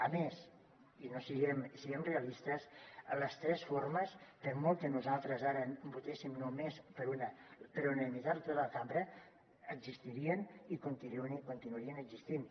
a més i siguem realistes les tres formes per molt que nosaltres ara votéssim només per una per unanimitat tota la cambra existirien i continuarien existint